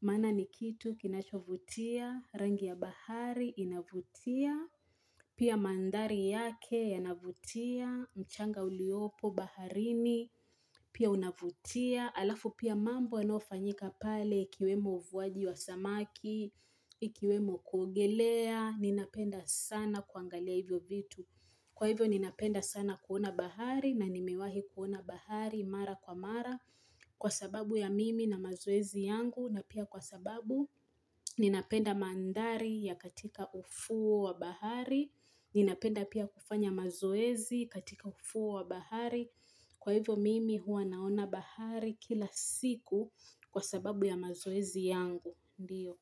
maana ni kitu kinachovutia, rangi ya bahari inavutia, Pia mandhari yake yanavutia, mchanga uliopo baharini, pia unavutia, alafu pia mambo yanofanyika pale ikiwemo uvuaji wa samaki, ikiwemo kuogelea, ninapenda sana kuangalia hivyo vitu. Kwa hivyo ninapenda sana kuona bahari na nimiwahi kuona bahari mara kwa mara kwa sababu ya mimi na mazoezi yangu na pia kwa sababu ninapenda mandhari ya katika ufuo wa bahari ninapenda pia kufanya mazoezi katika ufuo wa bahari kwa hivyo mimi huwa naona bahari kila siku kwa sababu ya mazoezi yangu ndiyo.